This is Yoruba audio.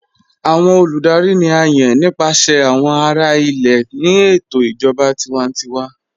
Awọn olùdárì ni à yán nípasẹ̀ awọn ará ilẹ̀ ní ètò ìjọba tìwàntíwà.